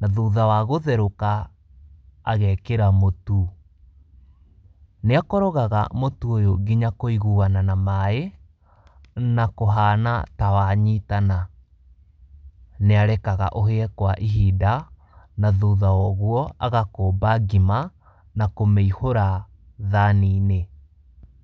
na thutha wa gũtherũka agekĩra mũtu, nĩ akorogaga mũtu ũyũ nginya kũiguwana na maaĩ, na kũhana ta wanyitana, nĩ arekaga ũhĩe kwa ihinda, na thutha wa ũguo agakũmba ngima, na kũmĩhũra thani-inĩ